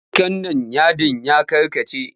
Yanka nan yadin ya karkace!